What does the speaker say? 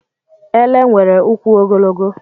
Ele nwere ụkwụ ogologo.